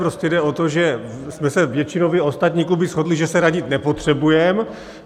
Prostě jde o to, že jsme se většinově ostatní kluby shodly, že se radit nepotřebujeme.